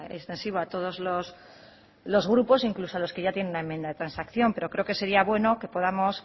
extensivo a todos los grupos incluso a quienes ya tienen la enmienda de transacción pero creo que sería bueno que podamos